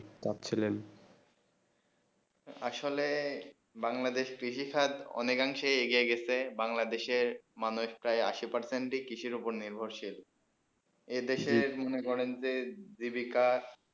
আসলে বাংলাদেশ কৃষি খাদ অনেক অধিকাংশ এগিয়ে গেছে বাংলাদেশে মানো একটা আসি percent এ কৃষি উপরে নির্ভরশীল এই দেশে মনে করেন যে জীবিকা